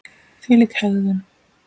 Þvílík hegðan!